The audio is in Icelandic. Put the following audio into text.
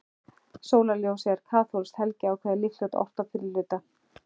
Sólarljóð eru kaþólskt helgikvæði, líklega ort á fyrra hluta